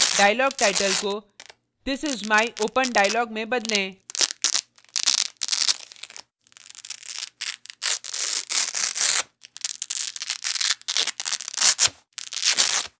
dialogtitle को this is my open dialog में बदलें